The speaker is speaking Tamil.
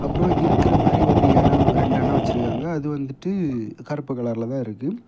அப்புறம் இருக்கிற மாதிரி ஒரு இடம் ரெண்டு அண்ணம் வச்சிருக்காங்க அது வந்துட்டு கருப்பு கலர்லதா இருக்கு.